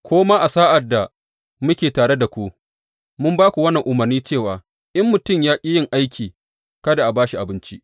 Ko ma a sa’ad da muke tare da ku, mun ba ku wannan umarni cewa, In mutum ya ƙi yin aiki, kada a ba shi abinci.